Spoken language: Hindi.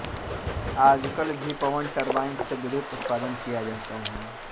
आजकल भी पवन टरबाइन से विद्युत उत्पादन किया जाता है